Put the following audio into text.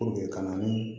kalanni